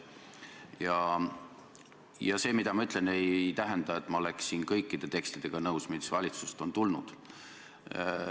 Samas see, mis ma ütlesin, ei tähenda, et ma oleksin nõus kõikide tekstidega, mis valitsusest on tulnud.